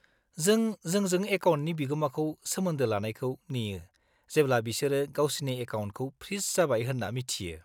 -जों जोंजों एकाउन्टनि बिगोमाखौ सोमोन्दो लानायखौ नेयो जेब्ला बिसोरो गावसिनि एकाउन्टखौ फ्रिज जाबाय होन्ना मिथियो।